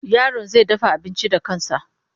Yaron zai dafa abinci da kansa.